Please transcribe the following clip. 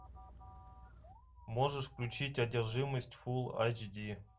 можешь включить одержимость фул эйч ди